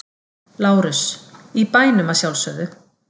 LÁRUS: Í bænum að sjálfsögðu!